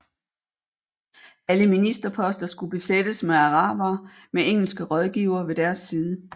Alle ministerposter skulle besættes med arabere med engelske rådgivere ved deres side